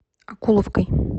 окуловкой